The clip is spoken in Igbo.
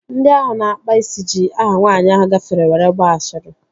Ndị ahụ na-akpa isi ji aha nwaanyị ahụ gafere were gbaa ashịrị